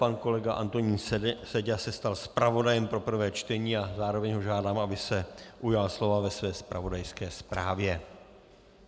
Pan kolega Antonín Seďa se stal zpravodajem pro prvé čtení a zároveň ho žádám, aby se ujal slova ve své zpravodajské zprávě.